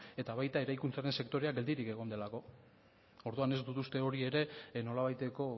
eta baita eraikuntzaren sektorea ere geldirik egon delako orduan ez du uste hori ere nolabaiteko